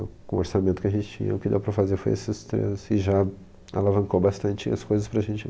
Com o orçamento que a gente tinha, o que deu para fazer foi esses três, e já alavancou bastante as coisas para a gente.